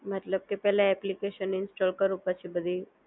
મતલબ કે પહેલા એપ્લિકેશન ઇન્સ્ટોલ કરું પછી બધી